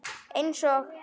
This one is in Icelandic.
Eins og